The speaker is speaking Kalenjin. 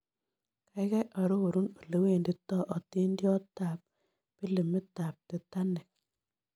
Kaigai arorun olewendito otindoniotap pilimitap titanic